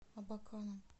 абаканом